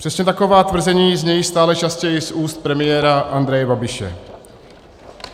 Přesně taková tvrzení znějí stále častěji z úst premiéra Andreje Babiše.